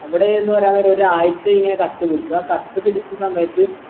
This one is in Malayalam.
അവിടെ എന്ന് പറയാൻ നേരം ഒരാഴ്ചയിങ്ങനെ കത്തി പിടിച്ചു ആ കത്തി പിടിച്ച സമയത്ത്